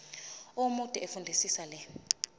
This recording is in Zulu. omude fundisisa le